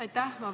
Aitäh!